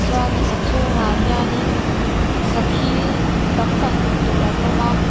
chuanin a chhungah hianin sakhi tam tak hmuh tur an awm a.